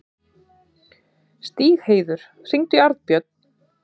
Stígheiður, hringdu í Arnbjörn.